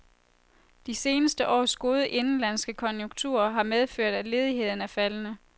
De seneste års gode indenlandske konjunkturer har medført, at ledigheden er faldende.